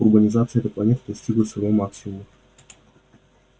урбанизация этой планеты достигла своего максимума